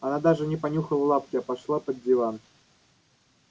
она даже не понюхала лапки а пошла под диван